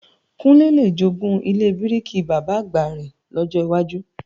Kúnlé le jogún ilé bíríkì Bàbá-àgbà rẹ̀ lọ́jọ wájú